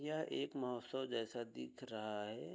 यह एक महोत्वसव जैसा दिख रहा है।